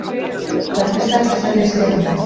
Hvert er sterkasta lið Stjörnunnar?